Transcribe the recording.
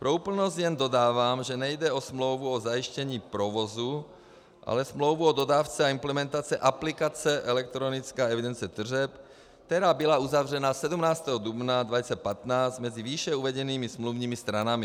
Pro úplnost jen dodávám, že nejde o smlouvu o zajištění provozu, ale smlouvu o dodávce a implementaci aplikace elektronické evidence tržeb, která byla uzavřena 17. dubna 2015 mezi výše uvedenými smluvními stranami.